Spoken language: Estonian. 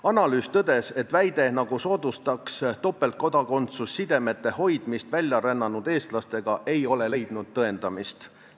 Analüüsis tõdeti, et väide, nagu soodustaks topeltkodakondsus sidemete hoidmist väljarännanud eestlastega, ei ole leidnud tõendamist.